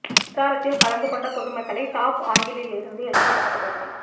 பிரச்சாரத்தில் கலந்து கொண்ட பொதுமக்களை டாப் ஆங்கிளில் இருந்து எடுக்கப்பட்ட புகைப்படம்